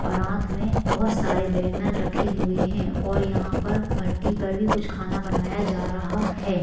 परात मे बहुत सारे बैंगन रखे हुए है और यहा पर भट्टी पर कुछ खाना बनाया जा रहा है।